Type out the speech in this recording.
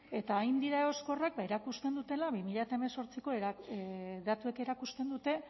eta hain dira egoskorrak ba erakusten dutela bi mila hemezortziko datuek erakusten dute